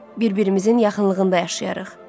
Bir-birimizin yaxınlığında yaşayarıq.